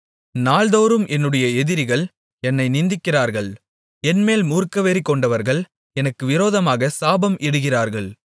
நாள்தோறும் என்னுடைய எதிரிகள் என்னை நிந்திக்கிறார்கள் என்மேல் மூர்க்கவெறிகொண்டவர்கள் எனக்கு விரோதமாகச் சாபம் இடுகிறார்கள்